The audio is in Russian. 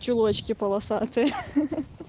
чулочки полосатые хе-хе-хе